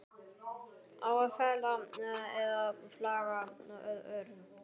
Á að fela eða flagga örum?